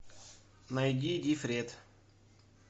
найди дифрет